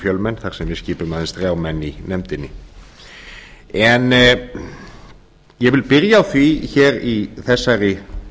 við skipum aðeins þrjá menn í nefndinni en ég vil byrja á því hér í þessari